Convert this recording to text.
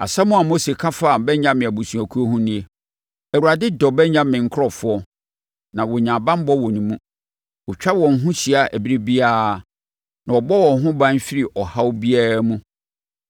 Asɛm a Mose ka faa Benyamin abusuakuo ho nie: “ Awurade dɔ Benyamin nkurɔfoɔ na wɔnya banbɔ wɔ ne mu. Ɔtwa wɔn ho hyia ɛberɛ biara na ɔbɔ wɔn ho ban firi ɔhaw biara mu.”